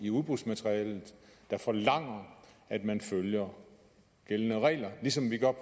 i udbudsmaterialet der forlanger at man følger gældende regler ligesom vi gør